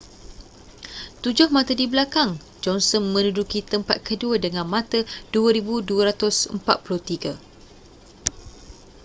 tujuh mata di belakang johnson menduduki tempat kedua dengan mata 2,243